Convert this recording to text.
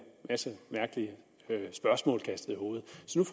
masse mærkelige spørgsmål kastet i hovedet så